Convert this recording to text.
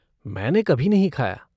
मैंने कभी नहीं खाया।